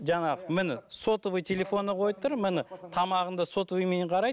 жаңағы міне сотовый телефоны қойып тұр міне тамағын да сотовыймен қарайды